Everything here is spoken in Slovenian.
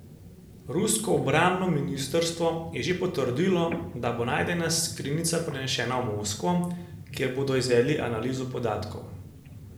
Rusko obrambno ministrstvo je že potrdilo, da bo najdena skrinjica prenešena v Moskvo, kjer bodo izvedli analizo podatkov.